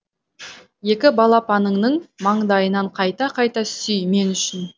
екі балапаныңның маңдайынан қайта қайта сүй мен үшін